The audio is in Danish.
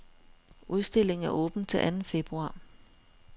Udstillingen er åben til anden februar.